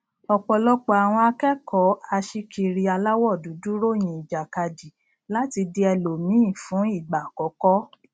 ọpọlọpọ àwọn akẹkọọ aṣíkiri aláwọ dúdú ròyìn ìjàkadì láti di ẹlòmíí fún ìgbà àkọkọ